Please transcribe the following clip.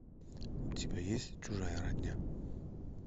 у тебя есть чужая родня